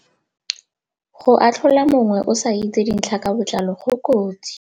Go atlhola mongwe o sa itse dintlha ka botlalo go kotsi.